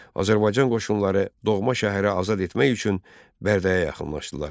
Azərbaycan qoşunları doğma şəhəri azad etmək üçün Bərdəyə yaxınlaşdılar.